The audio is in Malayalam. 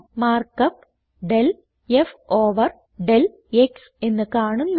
markup del f over del x എന്ന് കാണുന്നു